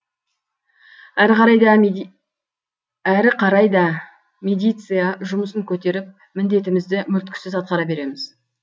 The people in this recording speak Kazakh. әрі қарай да медиция жұмысын көтеріп міндетімізді мүлтіксіз атқара береміз